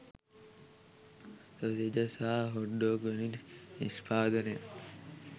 sausages සහ hot dog වැනි නිෂ්පාදනයන්